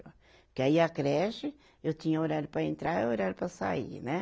Porque aí a creche, eu tinha horário para entrar e horário para sair, né?